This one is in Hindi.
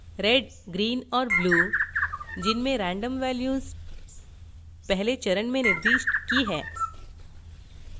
$red $greenऔर $blue जिनमें random values पहले चरण में निर्दिष्ट की हैं